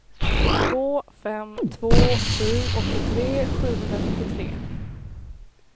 två fem två sju åttiotre sjuhundranittiotre